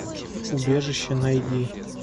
убежище найди